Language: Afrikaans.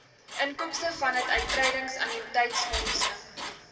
inkomste vanaf uittredingannuïteitsfondse